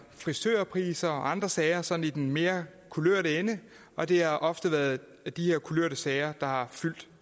frisørpriser og andre sager sådan mere kulørte ende og det har ofte været de her kulørte sager der har fyldt